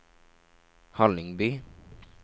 Hallingby